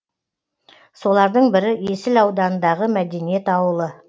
солардың бірі есіл ауданындағы мәдениет ауылы